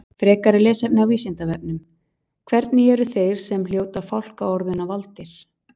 Frekara lesefni á Vísindavefnum: Hvernig eru þeir sem hljóta fálkaorðuna valdir?